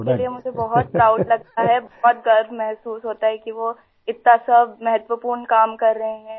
हाँ उनके लिए मुझे बहुत प्राउड लगता है बहुत गर्व महसूस होता है कि वो इतना सब महत्वपूर्ण काम कर रहे हैं